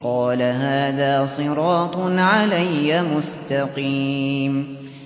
قَالَ هَٰذَا صِرَاطٌ عَلَيَّ مُسْتَقِيمٌ